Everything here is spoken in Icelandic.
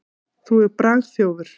Þú ert bragþjófur.